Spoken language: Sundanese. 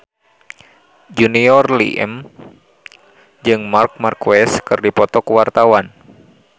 Junior Liem jeung Marc Marquez keur dipoto ku wartawan